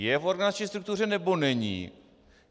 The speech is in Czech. Je v organizační struktuře, nebo není?